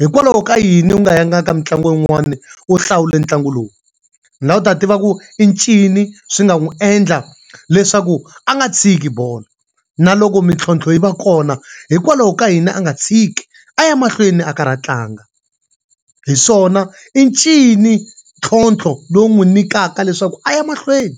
Hikwalaho ka yini u nga yanga ka mitlangu yin'wana u hlawule ntlangu lowu? Ndzi lava ku ta tiva ku i ncini swi nga n'wi endla leswaku a nga tshiki bolo? Na loko mintlhontlho yi va kona, hikwalaho ka yini a nga tshiki a ya mahlweni a karhi a tlanga? Hi swona i ncini ntlhontlho lowu n'wi nyikaka leswaku a ya mahlweni.